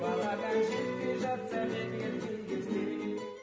бағадан жетпей жатсам егер кей кезде